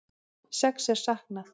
Sex er saknað